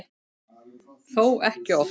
Þó ekki oft.